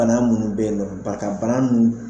Bana munnu be yen nɔn k'a ta bana ninnu